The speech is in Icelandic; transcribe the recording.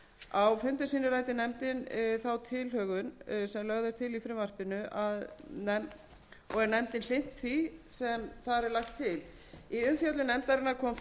á fundum sínum ræddi nefndin þá tilhögun sem lögð er til í frumvarpinu og er nefndin hlynnt því sem þar er lagt til í umfjöllun nefndarinnar kom fram að